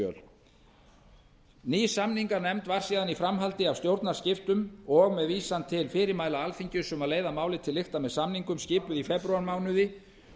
þingskjöl ný samninganefnd var síðan í framhaldi af stjórnarskiptum og með vísan til fyrirmæla alþingis um að leiða málið til lykta með samningum skipuð í febrúarmánuði